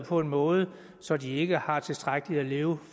på en måde så de ikke har tilstrækkeligt at leve